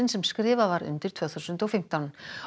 sem skrifað var undir tvö þúsund og fimmtán